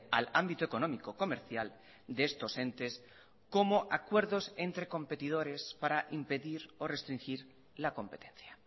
al ámbito económico comercial de estos entes como acuerdos entre competidores para impedir o restringir la competencia